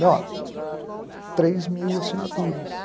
Falei, ó, três mil assinaturas.